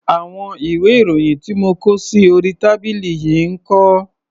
Àwọn ìwé-ìròyìn tí mo kó sí orí tábìlì yìí ń kọ́?